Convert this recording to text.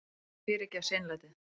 En ég fyrirgef seinlætið.